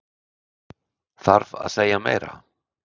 Þarf að segja meira?